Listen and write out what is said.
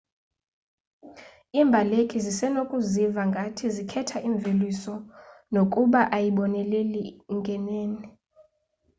iimbaleki zisenokuziva ngathi zikhetha imveliso nokuba ayiboneleli ngenene